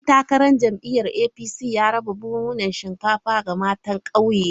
Dan takarar jam’iyyar APC ya raba buhunan shinkafa ga matan kauyena.